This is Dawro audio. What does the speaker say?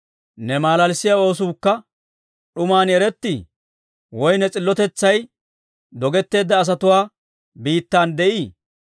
Ne malalissiyaa oosuukka d'uman erettii? woy ne s'iltotetsay dogetteedda asatuwaa biittan de'ii?